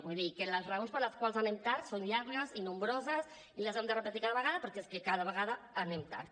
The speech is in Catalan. vull dir que les raons per les quals anem tard són llargues i nombroses i les hem de repetir cada vegada perquè és que cada vegada anem tard